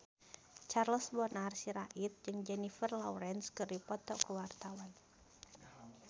Charles Bonar Sirait jeung Jennifer Lawrence keur dipoto ku wartawan